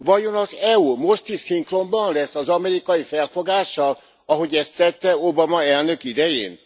Vajon az EU most is szinkronban lesz az amerikai felfogással, ahogy ezt tette Obama elnök idején?